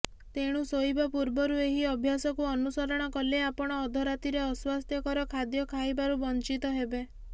ତେଣୁ ଶୋଇବା ପୂର୍ବରୁ ଏହି ଅଭ୍ୟାସକୁ ଅନୁସରଣ କଲେ ଆପଣ ଅଧରାତିରେ ଅସ୍ୱାସ୍ଥ୍ୟକର ଖାଦ୍ୟ ଖାଇବାରୁ ବଞ୍ଚିତ ହେବେ